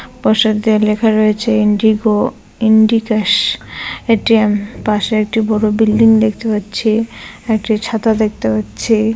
প্রসাদ দিয়ে লেখা রয়েছে ইন্ডিগো -ইন্ডিকাশ এটি আ পাশে একটা বড়ো বিল্ডিং দেখতে পাচ্ছি একটি ছাতা দেখতে পাচ্ছি।